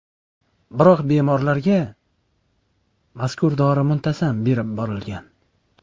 Biroq bemorlarga mazkur dori muntazam berib borilgan.